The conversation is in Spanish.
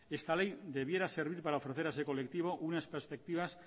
esta ley debiera servir para ofrecer a ese colectivo unas perspectivas